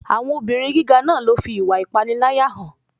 Àwọn obìrin gíga náà ló fi ìwà ìpániláyà hàn.